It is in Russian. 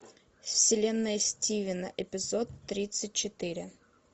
вселенная стивена эпизод тридцать четыре